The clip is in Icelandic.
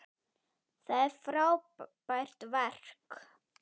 Það er frábært verk.